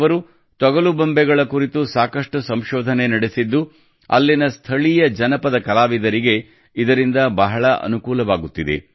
ಅವರು ತೊಗಲು ಬೊಂಬೆಗಳ ಕುರಿತು ಸಾಕಷ್ಟು ಸಂಶೋಧನೆ ನಡೆಸಿದ್ದು ಅಲ್ಲಿನ ಸ್ಥಳೀಯ ಜನಪದ ಕಲಾವಿದರಿಗೆ ಇದರಿಂದ ಬಹಳ ಅನುಕೂಲವಾಗುತ್ತಿದೆ